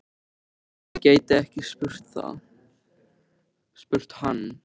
Nei, ég gæti ekki spurt hann.